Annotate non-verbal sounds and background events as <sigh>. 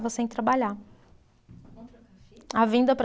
<unintelligible> Sem trabalhar. <unintelligible> A vinda para